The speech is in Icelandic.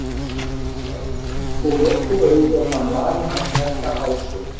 Hún leið um með lokuð augu og fann varir hans snerta hálsinn.